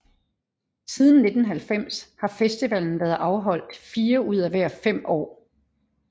Siden 1990 har festivalen været afholdt fire ud af hver fem år